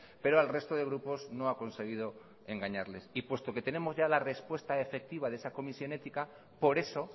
pero al resto de grupos no ha conseguido engañarles y puesto que tenemos ya la respuesta efectiva de esa comisión ética por eso